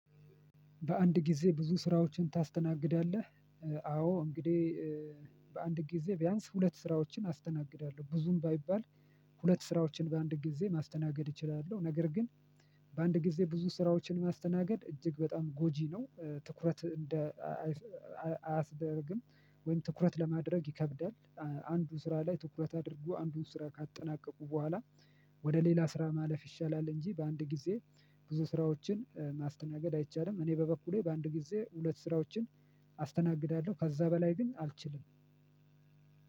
በአንድ ጊዜ ብዙ ስራዎችን ታስተናግዳለህ? አዎ እንግዲህ በአንድ ጊዜ ቢያንስ ሁለት ስራዎችን አስተናግዳለሁ ብዙም ባይባል ሁለት ስራዎችን በአንድ ጊዜ ማስተናገድ እችላለሁ። ነገር ግን። በአንድ ጊዜ ብዙ ስራዎችን ማስተናገድ እጅግ በጣም ጎጂ ነው። ትኩረት እንደ አያስደርግም። ወይም ትኩረት ለማድረግ ይከብዳል። አንዱ ስራ ላይ ትኩረት አድርጎ አንዱን ስራ ካጠናቀቁ በኋላ። ወደ ሌላ ስራ ማለፍ ይሻላል እንጂ በአንድ ጊዜ ብዙ ስራዎችን ማስተናገድ አይቻልም። እኔ በበኩሌ በአንድ ጊዜ ሁለት ስራዎችን አስተናግዳለሁ ከዛ በላይ ግን አልችልም።